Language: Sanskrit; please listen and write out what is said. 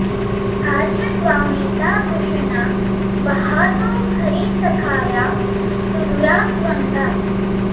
आ च॒ त्वामे॒ता वृष॑णा॒ वहा॑तो॒ हरी॒ सखा॑या सु॒धुरा॒ स्वङ्गा॑